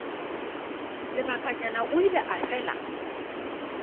lebakanyana o ile a fela